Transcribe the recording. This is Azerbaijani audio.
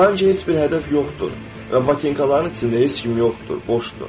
Sanki heç bir hədəf yoxdur və batinkaların içində heç kim yoxdur, boşdur.